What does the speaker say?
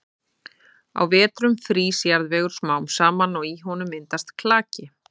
Á vetrum frýs jarðvegur smám saman og í honum myndast klaki.